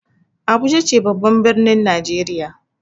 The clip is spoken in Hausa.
Abuja ce babban ɓirnin najeriya.